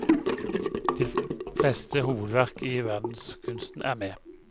De fleste hovedverk i verdenskunsten er med.